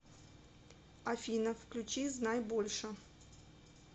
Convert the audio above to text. афина включи знай больше